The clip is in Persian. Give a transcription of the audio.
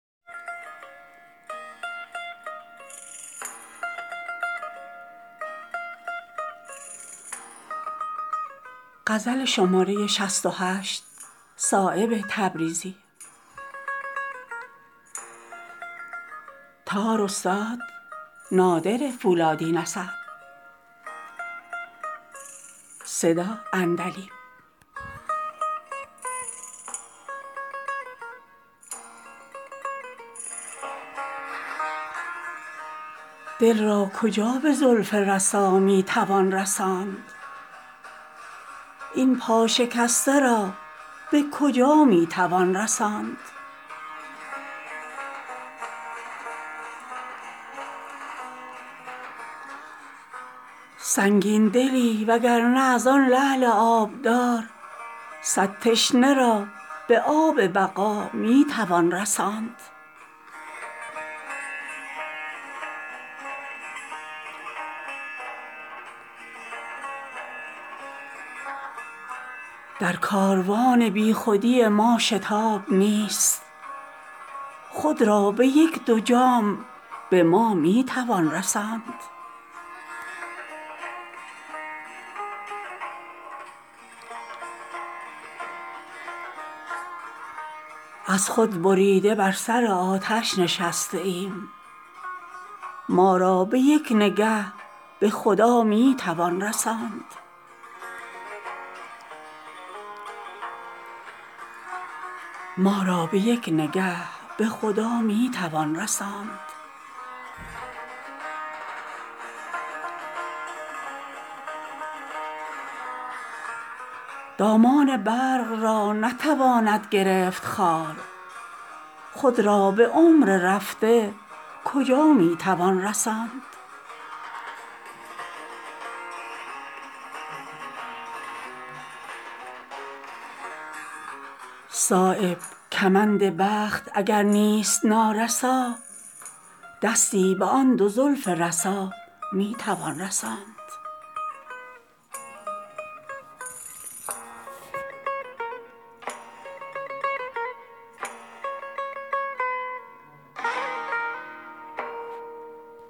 دل را کجا به زلف رسا می توان رساند این پا شکسته را به کجا می توان رساند سنگین دلی و گرنه ازان لعل آبدار صد تشنه را به آب بقامی توان رساند در کاروان بیخودی ما شتاب نیست خود را به یک دو جام به ما می توان رساند از خود بریده بر سر آتش نشسته ایم ما را به یک نگه به خدا می توان رساند در شیشه کرده است مرا خشکی خمار در موسمی که می ز هوا می توان رساند در هیچ بزم خون ندهد نشأه شراب این باده در مقام رضا می توان رساند بتوان به چرخ برد به همت غبار جسم این سرمه را به چشم سها می توان رساند دامان برق را نتواند گرفت خار خود را به عمر رفته کجا می توان رساند صایب کمند بخت اگر نیست نارسا دستی به آن دو زلف رسا می توان رساند